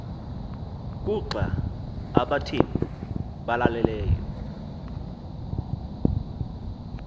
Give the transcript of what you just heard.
kuxa abathembu balaleleyo